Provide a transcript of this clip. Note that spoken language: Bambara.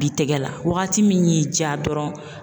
Bi tɛgɛ la, waagati min y'i diya dɔrɔn.